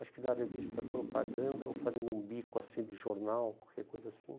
acho que na revista Propaganda, ou fazendo um bico assim de jornal, qualquer coisa assim,